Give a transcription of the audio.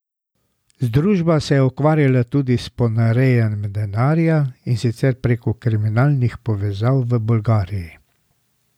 Združba se je ukvarjala tudi s ponarejanjem denarja, in sicer preko kriminalnih povezav v Bolgariji.